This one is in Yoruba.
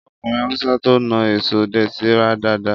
Ọkùnrin Hausa to naa èso dẹ̀tì rẹ dáadáa